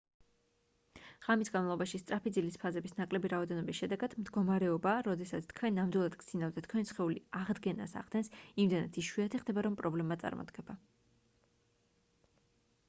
ღამის განმავლობაში სწრაფი ძილის ფაზების ნაკლები რაოდენობის შედეგად მდგომარეობა როდესაც თქვენ ნამდვილად გძინავთ და თქვენი სხეული აღდგენას ახდენს იმდენად იშვიათი ხდება რომ პრობლემა წარმოდგება